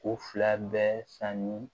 U fila bɛɛ sanni